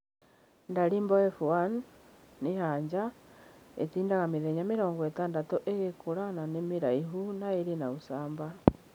Dalibor F1 - nĩ ya nja, ĩtindaga mĩthenya mĩrongo ĩtandatũ ĩgĩkũra na nĩ mĩraihu na ĩrĩ na ũcamba.